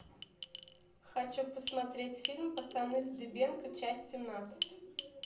хочу посмотреть фильм пацаны с дыбенко часть семнадцать